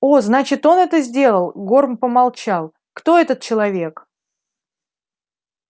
о значит он это сделал горм помолчал кто этот человек